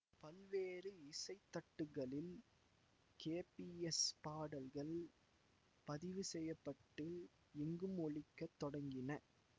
பல்வேறு இசை தட்டுகளில் கேபிஎஸ் பாடல்கள் பதிவு செய்ய பட்டு எங்கும் ஒலிக்கத் தொடங்கின